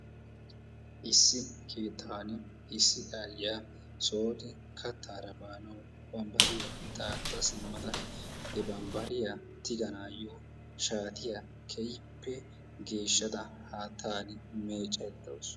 Issi keettaappe issi ayyiyaa sooni kattaara baanawu bambbariyaa daaxxa simmada he bambbariyaa tigaanayoo shaatiyaa keehippe geeshshada haattani meeccaydda de'awus.